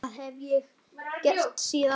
Þetta hef ég gert síðan.